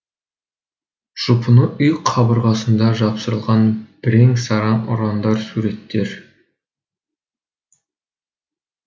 жұпыны үй қабырғасында жапсырылған бірен саран ұрандар суреттер